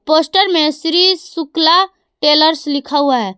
Poster में Shri Shukla tailors लिखा हुआ है।